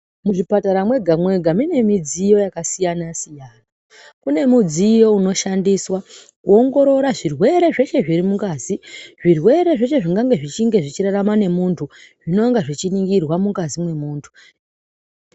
Muzvipatara mwega mwega mune midziyo yakasiyana siyana kune mudziyo unoshandiswa kuongorora zvirwere zveshe zviri mungazi zvirwere zveshe zvingange zvechirarama nemunthu zvinonga zvechiningirwa mungazi mwemunthu.